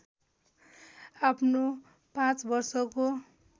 आफ्नो पाँच वर्षको